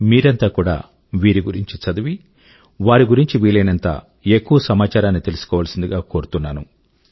మీరంతా కూడా వీరి గురించి చదివి వారి గురించి వీలయినంత ఎక్కువ సమాచారాన్ని తెలుసుకోవాల్సింది గా కోరుతున్నాను